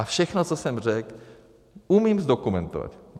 A všechno, co jsem řekl, umím zdokumentovat.